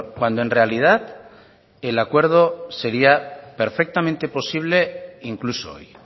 cuando en realidad el acuerdo sería perfectamente posible incluso hoy